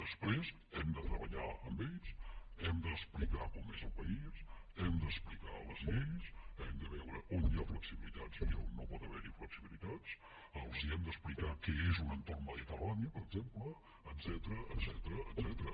després hem de treballar amb ells hem d’explicar com és el país hem d’explicar les lleis hem de veure on hi ha flexibilitats i on no hi pot haver flexibilitats els hem d’explicar què és un entorn mediterrani per exemple etcètera